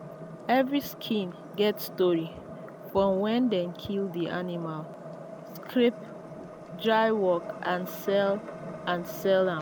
every skin get story from when dem kill the animal scrape dry work and sell and sell am.